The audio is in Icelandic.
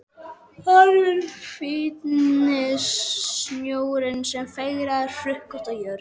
Horfinn fíni snjórinn sem fegraði hrukkótta jörð.